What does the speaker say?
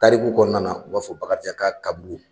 Tariku kɔnɔna o b'a fɔ bakarijan ka kaburu